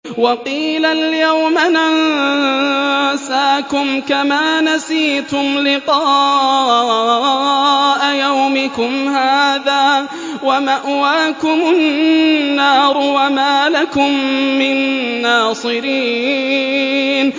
وَقِيلَ الْيَوْمَ نَنسَاكُمْ كَمَا نَسِيتُمْ لِقَاءَ يَوْمِكُمْ هَٰذَا وَمَأْوَاكُمُ النَّارُ وَمَا لَكُم مِّن نَّاصِرِينَ